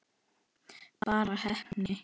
Bara heppni?